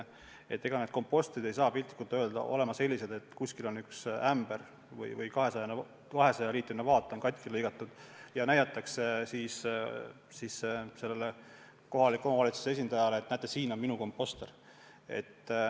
Ega need kompostrid ei saa piltlikult öeldes olema sellised, et kuskil on 200-liitrine vaat pealt lahti lõigatud ja näidatakse kohaliku omavalitsuse esindajale, et näete, siin on minu komposter.